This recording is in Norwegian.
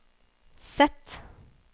Z